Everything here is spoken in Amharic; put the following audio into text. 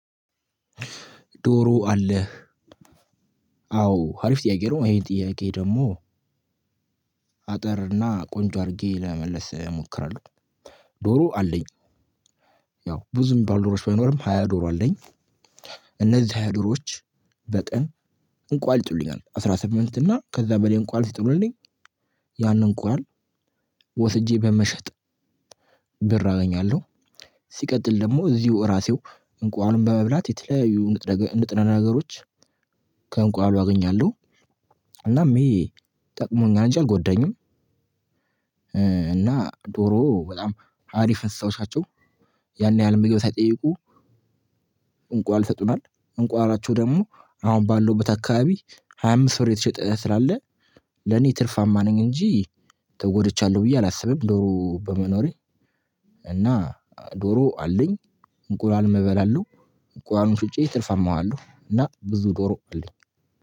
ዶሮ አለህ አዎ አሪፍ ጥያቄ ነው ይሄ ጥያቄ ደግሞ አጠር እና ቆንጆ አድርጌ ለመመለስ እሞክራለሁ። ዶሮ አለኝ። ያው ብዙም ባልዶሮች ባይኖርም ሃያ ዶሮ አለኝ። እነዚህ ሃያ ዶሮዎች በቀን እንቁላል ይጥሉኛል አስራ ስምንት እና ከዛ በላይ እንቁላል ሲጥሉኝ ያንን እንቁላል ወስጄ በመሸጥ ብር አገኛለሁ። ሲቀጥል ደግሞ እዚው እራሴው እንቁላሉን በመብላት የተለያዩ ንጥረ ነገሮች ከእንቁላሉ አገኛለው። እናም ይሄ ጠቅሞኛል እንጂ አልጎዳኝም። እና ዶሮ በጣም ሀሪፍ እንስሳዎች ናቸው። ያን ያህል ምግብ ሳይጠይቁ እንቁላል ይሰጡናል። እንቁላላቸው ደግሞ አሁን ባለውበት አካባቢ ሃያ አምስት ብር እየተሸጠ ስላለ ለኔ ትርፋማ ነኝ እንጂ ተጎድቻለሁ ብዬ አላስብም። ዶሮ በመኖሬ እና ዶሮ አለኝ እንቁላልም እበላለሁ። እንቁላሉን ሽጬ ትርፈማዋለሁ እና ብዙ ዶሮ አለኝ።